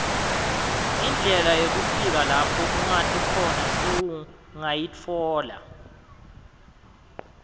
indlela yekufika lapho ungati khona sowungayitfola